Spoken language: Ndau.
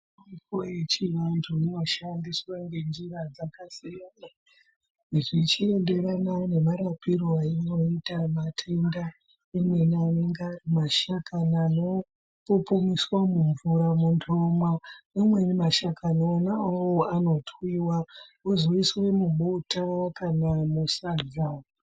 Mitombo yechiantu inoshandiswa ngenzira yakasiyana zvichienderana nemarapiro ainoita matenda imweni anenga mashakani anopupumiswa mumvura munhu omwa ameni shakani awawo anotwiwa ozoiswe mubota okanya musadza.